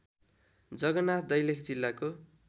जगनाथ दैलेख जिल्लाको